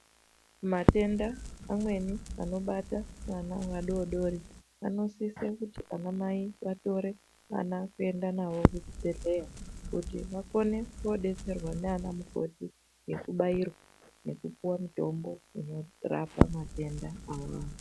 Matenda anweni anobaata ana adodori anosise kuti anamai vatore ana kuenda navo kuchibhedhlera kuti vakone kuwodetserwa nanamukoti nekubayirwa nekupiwa mutombo kurapa matenda awawo.